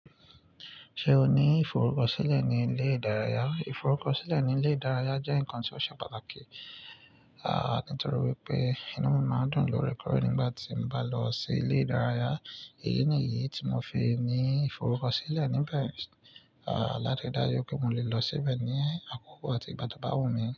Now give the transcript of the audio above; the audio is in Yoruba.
Ṣe o ni iforukọsilẹ ni ile idaraya? Iforukọsilẹ ni ile idaraya jẹ nkan ti o ṣe pataki, nitori wipe inu mi maa n dun lorẹkọre nigbati n ba lọ si ile idaraya. Eyi ni idi ti mo fi ni iforukọsilẹ nibẹ lati ri daju pe mo le lọ sibẹ ni akoko ati igba to ba wumi.